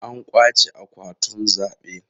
An kwace akwatunan zabe.